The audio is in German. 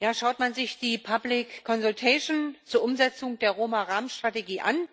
Herr Präsident! Schaut man sich die zur Umsetzung der Roma Rahmenstrategie an,